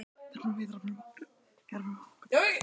Með því að hætta, svaraði hann: Ég bara hætti.